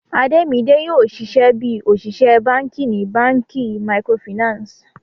Ademide yoo ṣiṣẹ bi oṣiṣẹ banki ni banki micro Finance.